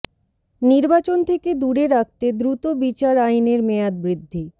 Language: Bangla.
নির্বাচন থেকে দূরে রাখতে দ্রুত বিচার আইনের মেয়াদ বৃদ্ধি